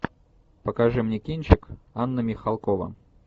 покажи мне кинчик анна михалкова